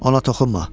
Ona toxunma!